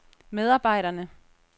medarbejderne